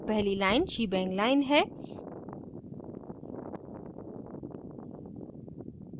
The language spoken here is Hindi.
पहली line shebang line है